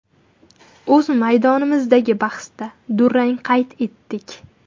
O‘z maydonimizdagi bahsda durang qayd etdik.